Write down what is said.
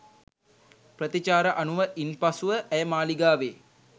ප්‍රතිචාර අනුව ඉන් පසුව ඇය මාලිගාවේ